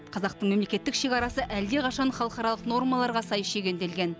қазақтың мемлекеттік шекарасы әлдеқашан халықаралық нормаларға сай шегенделген